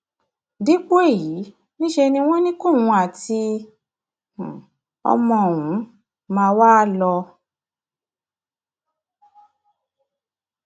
dípò èyí níṣẹ ni wọn ní kóun àti um ọmọ òun ọmọ òun máa wá um lọ